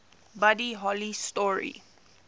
buddy holly story